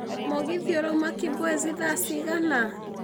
mũgithi ũrauma kibwezi thaa cigana